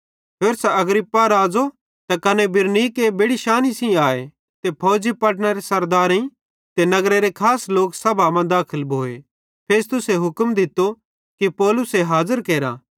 होरसां अग्रिप्पा राज़ो ते कने बिरनीके बेड़ि शांनी सेइं आए ते फौजी पलटनरे सरदारेइं ते नगरेरे खास लोक सभा मां दाखल भोए फेस्तुसे हुक्म दित्तो कि पौलुसे हाज़र केरा